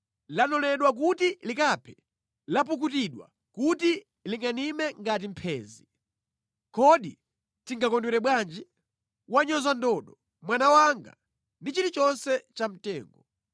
Lanoledwa kuti likaphe, lapukutidwa kuti lingʼanime ngati mphenzi! “ ‘Kodi tingakondwere bwanji? Wanyoza ndodo, mwana wanga ndi chilichonse cha mtengo.